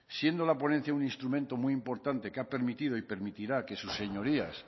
siendo la ponencia un instrumento muy importante que ha permitido y permitirá que sus señorías